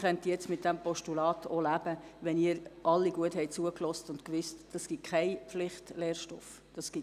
Ich könnte dann mit dem Postulat leben, wenn Sie alle genau hingehört haben und wissen, dass es keinen Pflichtlehrstoff gibt.